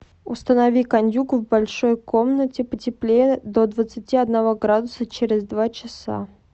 установи кондюк в большой комнате потеплее до двадцати одного градуса через два часа